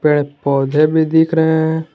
पेड़ पौधे में दिख रहे हैं ।